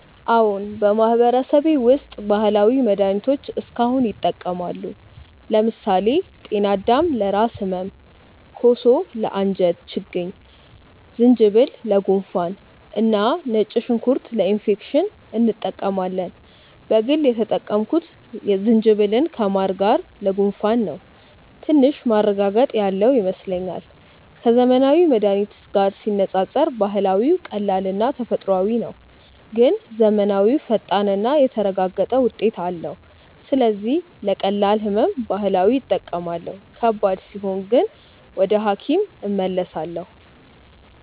አዎን፣ በማህበረሰቤ ውስጥ ባህላዊ መድሃኒቶች እስካሁን ይጠቀማሉ። ለምሳሌ ጤናዳም ለራስ ህመም፣ ኮሶ ለአንጀት ችግኝ፣ ዝንጅብል ለጉንፋን እና ነጭ ሽንኩርት ለኢንፌክሽን እንጠቀማለን። በግል የተጠቀምኩት ዝንጅብልን ከማር ጋር ለጉንፋን ነው፤ ትንሽ ማረጋገጥ ያለው ይመስለኛል። ከዘመናዊ መድሃኒት ጋር ሲነጻጸር ባህላዊው ቀላልና ተፈጥሯዊ ነው፣ ግን ዘመናዊው ፈጣንና የተረጋገጠ ውጤት አለው። ስለዚህ ለቀላል ህመም ባህላዊ እጠቀማለሁ፣ ከባድ ሲሆን ግን ወደ ሐኪም እመለሳለሁ።